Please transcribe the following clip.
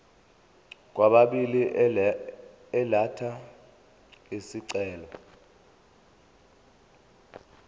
kwababili elatha isicelo